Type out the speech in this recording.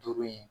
Duuru in